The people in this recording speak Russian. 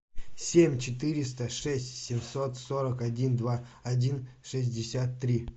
семь четыреста шесть семьсот сорок один два один шестьдесят три